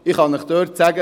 Ich kann Ihnen sagen: